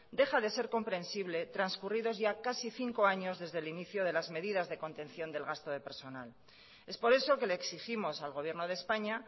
deja de ser comprensible transcurridos ya casi cinco años desde el inicio de las medidas de contención del gasto de personal es por eso que le exigimos al gobierno de españa